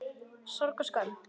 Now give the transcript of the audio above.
Sorg og skömm.